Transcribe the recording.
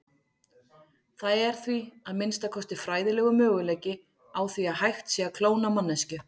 Það er því, að minnsta kosti fræðilegur, möguleiki á því hægt sé að klóna manneskju.